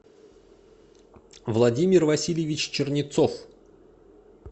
владимир васильевич чернецов